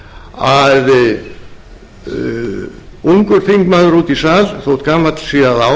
að heyra lausnir sem eru jafnstórkostlegar og vandinn